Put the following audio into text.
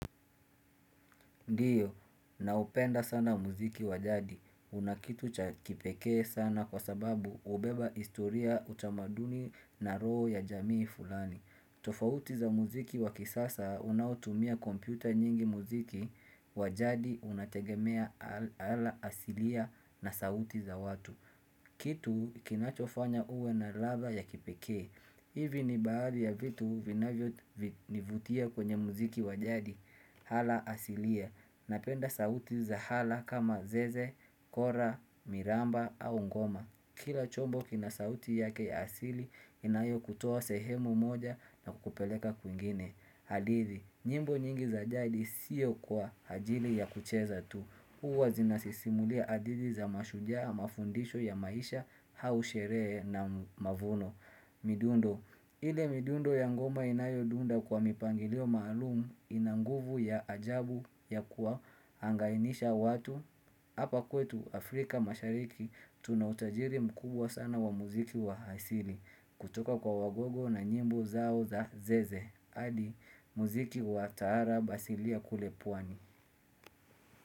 Ndio, naupenda sana muziki wa jadi. Unakitu cha kipekee sana kwa sababu hubeba historia, utamaduni na roho ya jamii fulani. Tofauti za muziki wa kisasa unaotumia kompyuta nyingi muziki wa jadi unategemea hala asilia na sauti za watu. Kitu kinachofanya uwe na ladha ya kipekee Ivi ni baadhi ya vitu vinavyo nivutia kwenye muziki wa jadi. Hala asilia. Napenda sauti za hala kama zeze, kora, miramba au ngoma. Kila chombo kina sauti yake asili inayokutoa sehemu moja na kukupeleka kwingine hadithi nyimbo nyingi za jadi sio kwa ajili ya kucheza tu Huwa zinasisimulia hadithi za mashujaa mafundisho ya maisha hau sherehe na mavuno midundo. Ile midundo ya ngoma inayodunda kwa mipangilio maalumu ina nguvu ya ajabu ya kuwahangainisha watu Hapa kwetu Afrika mashariki tuna utajiri mkubwa sana wa muziki wa hasili kutoka kwa wagogo na nyimbo zao za zeze hadi muziki wa taarab asili ya kule pwani.